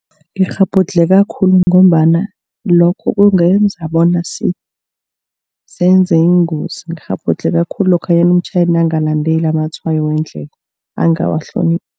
Ngikghabhudlheka khulu ngombana lokho kungenza bona senze ingozi. Ngikghabhudlheka khulu lokhanyana umtjhayeli nakangalandeli amatshwayo wendlela angawahloniphi.